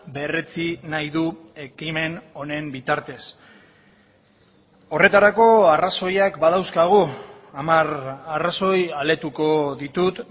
berretsi nahi du ekimen honen bitartez horretarako arrazoiak badauzkagu hamar arrazoi aletuko ditut